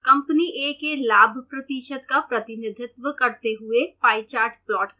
company a के लाभ प्रतिशत का प्रतिनिधित्व करते हुए पाई चार्ट प्लॉट करें